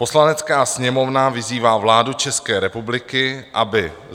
"Poslanecká sněmovna vyzývá vládu České republiky, aby